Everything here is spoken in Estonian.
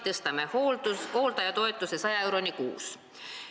Tõstame hooldajatoetuse 100 euroni kuus.